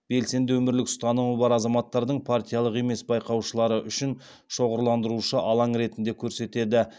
белсенді өмірлік ұстанымы бар азаматтардың партиялық емес байқаушылары үшін шоғырландырушы алаң ретінде көрсетеді